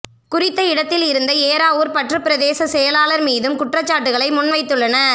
குறித்த இடத்தில் இருந்த ஏறாவூர் பற்று பிரதேச செயலாளர் மீதும் குற்றச்சாட்டுக்களை முன்வைத்துள்ளனர்